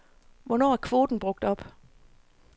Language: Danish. Hvornår er kvoten brugt op?